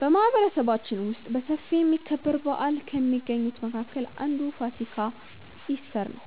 በማህበረሰባችን ውስጥ በሰፊ የሚከበር በዓል ከሚገኙት መካከል አንዱ ፋሲካ (ኢስተር) ነው።